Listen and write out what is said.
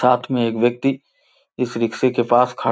साथ में एक व्यक्ति इस रिक्शे के पास खड़ --